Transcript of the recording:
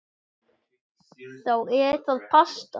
Þá er það pasta.